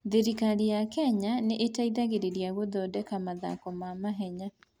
Thirikari ya Kenya nĩ ĩteithagĩrĩria gũthondeka mathako ma mahenya.